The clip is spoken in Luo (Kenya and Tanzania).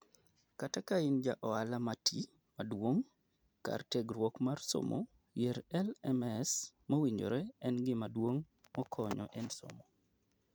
Kata kain ja ohala mati, maduong' ,kar tiegruok mar somo, yiero LMS mowinjore en gima duong' makonyo e nsomo.